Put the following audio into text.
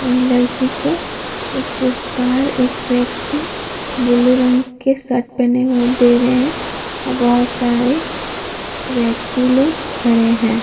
इ लड़की को एक पुरस्कार एक व्यक्ति ब्लू रंग के शर्ट पहने हुए दे रहे हैं और बहुत सारे व्यक्ति लोग खड़े हैं।